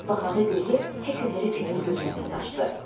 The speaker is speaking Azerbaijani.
Dönüb baxanda gözü Heklberi Finnin gözünə sataşdı.